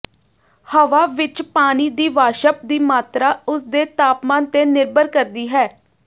ਹਵਾ ਵਿਚ ਪਾਣੀ ਦੀ ਵਾਸ਼ਪ ਦੀ ਮਾਤਰਾ ਉਸਦੇ ਤਾਪਮਾਨ ਤੇ ਨਿਰਭਰ ਕਰਦੀ ਹੈ